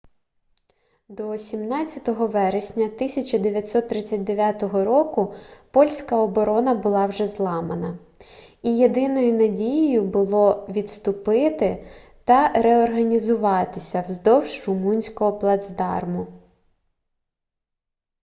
до 17 вересня 1939 року польська оборона була вже зламана і єдиною надією було відступити та реорганізуватися вздовж румунського плацдарму